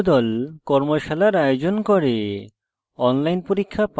কর্মশালার আয়োজন করে